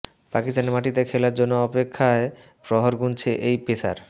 পাকিস্তানের মাটিতে খেলার জন্য অপেক্ষায় প্রহর গুনছেন এই পেসার